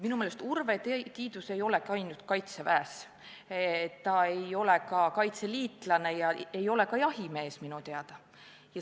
Minu meelest Urve Tiidus ei ole käinud kaitseväes, ta ei ole ka kaitseliitlane ega jahimees minu teada.